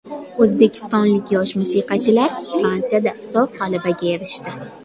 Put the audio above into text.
O‘zbekistonlik yosh musiqachilar Fransiyada sof g‘alabaga erishdi.